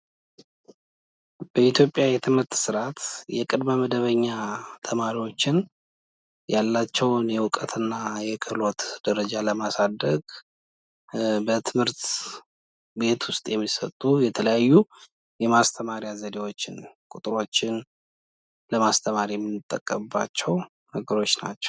የአዋቂዎች ትምህርት ዕድሜያቸው ለትምህርት ያልደረሰ ወይም ትምህርታቸውን ያቋረጡ ሰዎች ዕውቀትና ክህሎት እንዲያገኙ ይረዳል።